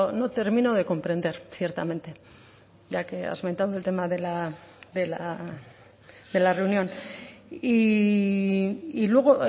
no termino de comprender ciertamente ya que afrontando el tema de la reunión y luego